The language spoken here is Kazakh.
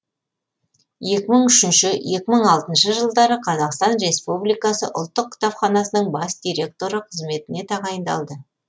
екі мың үшінші екі мың алтыншы жылдары қазақстан республикасы ұлттық кітапханасының бас директоры қызметіне тағайындалды